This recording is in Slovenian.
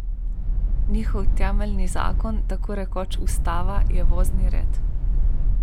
Njihov temeljni zakon, tako rekoč ustava, je vozni red.